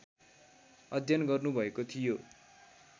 अध्ययन गर्नुभएको थियो